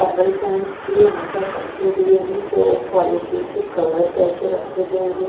Table fans भी यहां पर रखे हुए हैं जो पॉलिथीन से कवर करके रखे गए हैं।